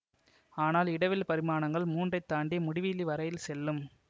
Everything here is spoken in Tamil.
ஆனால் இடவில் பரிமாணங்கள் மூன்றைத் தாண்டி முடிவிலி வரையில் செல்லும்